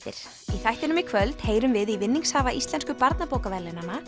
í þættinum í kvöld heyrum við í vinningshafa Íslensku